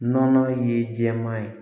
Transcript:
Nɔnɔ ye jɛman ye